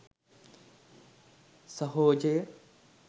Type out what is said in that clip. සහොජය